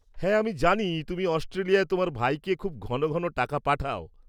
হ্যাঁ, আমি জানি তুমি অস্ট্রেলিয়ায় তোমার ভাইকে খুব ঘন ঘন টাকা পাঠাও।